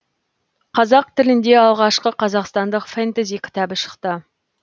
қазақ тілінде алғашқы қазақстандық фэнтези кітабы шықты